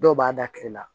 Dɔw b'a da kile la